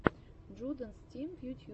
джудэнс тим в ютьюбе